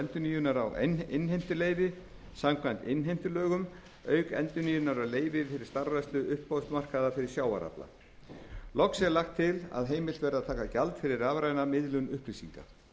endurnýjunar á innheimtuleyfi samkvæmt innheimtulögum auk endurnýjunar á leyfi fyrir starfrækslu uppboðsmarkaða fyrir sjávarafla loks er lagt til að heimilt verði að taka gjald fyrir rafræna miðlun upplýsinga